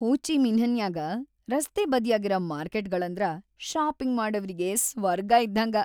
ಹೋ ಚಿ ಮಿನ್ಹ್‌ನ್ಯಾಗ ರಸ್ತೆ ಬದ್ಯಾಗಿರ ಮಾರ್ಕೆಟ್‌ಗಳಂದ್ರ ಷಾಪಿಂಗ್‌ ಮಾಡವ್ರಿಗಿ ಸ್ವರ್ಗ ಇದ್ದಂಗ.